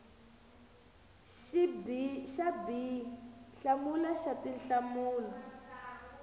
xa b hlamula xa tinhlamulo